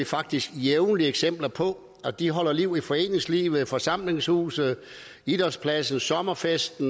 faktisk jævnligt eksempler på at de holder liv i foreningslivet forsamlingshuse idrætspladser sommerfester